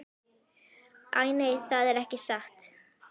Æ, nei, það er ekki satt.